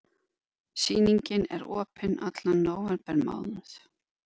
Sýningin er opin allan nóvembermánuð.